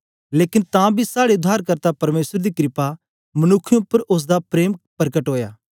लेकन तां बी साड़े उद्धारकर्ता परमेसर दी कृपा मनुक्खें उपर ओसदा प्रेम परकट ओया